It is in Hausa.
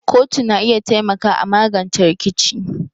kotu na iya taimaka a magance rikici.